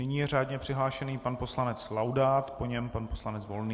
Nyní je řádně přihlášený pan poslanec Laudát, po něm pan poslanec Volný.